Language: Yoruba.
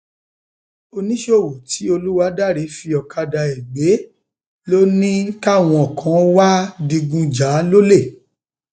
oníṣòwò tí olùwádàrẹ um fi ọkadà ẹ gbé ló ní káwọn um kan wàá wàá digun jà lọlẹ